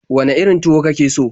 Wane irin tuwo ka ke so?